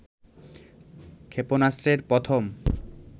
ক্ষেপণাস্ত্রের প্রথম